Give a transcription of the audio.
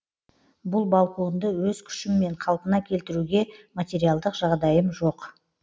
бұл балконды өз күшіммен қалпына келтіруге материалдық жағдайым жоқ